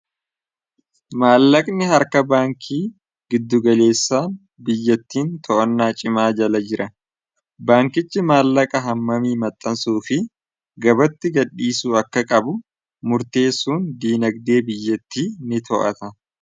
Maallaqni harka baankii giddugaleessaan biyyattiin to'annaa cimaa jala jira. Baankichi maallaqa hammamii maxxansuu fi gabatti gaddhiisu akka qabu murtee suun diinagdee biyyatti ni to'ata.